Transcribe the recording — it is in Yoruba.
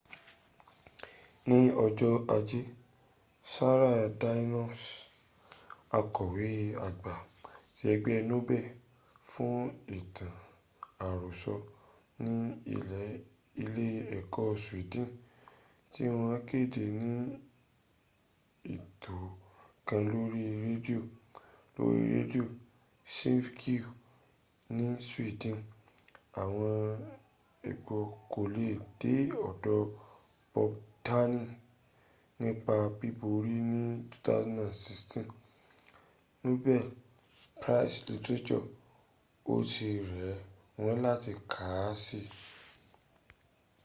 ní ọjọ́ ajé sara danius akọ̀wé àgbà ti ẹgbẹ́ nobel fún ìtàn àròsọ ní ilé ẹ̀ka swedin tí wọ́n kéde ní ètò kan lóri rẹ́díò lóri rẹ́díò svergies ní sweden àwọn ẹgbk kò lè dé ọ̀dọ̀ bobdylan nípa bíborí ní 2016 nobel prize literature ó ti rẹ̀ wọ́n láti kàn si